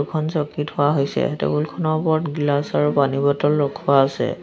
দুখন চকী থোৱা হৈছে টেবুলখনৰ ওপৰত গ্লাছৰ পানী বটল ৰখোৱা আছে।